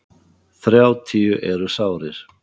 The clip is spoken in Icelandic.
Þrjátíu eru sárir.